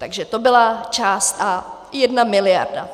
Takže to byla část A - jedna miliarda.